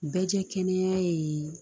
Bɛɛ jɛ kɛnɛ ye